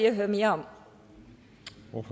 at høre mere